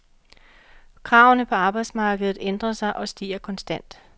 Kravene på arbejdsmarkedet ændrer sig og stiger konstant.